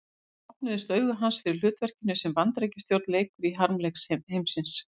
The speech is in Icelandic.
Þá opnuðust augu hans fyrir hlutverkinu sem Bandaríkjastjórn leikur í harmleik heimsins.